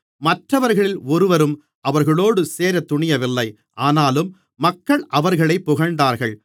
மற்றவர்களில் ஒருவரும் அவர்களோடு சேரத் துணியவில்லை ஆனாலும் மக்கள் அவர்களைப் புகழ்ந்தார்கள்